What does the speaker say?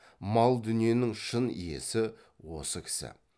мал дүниенің шын иесі осы кісі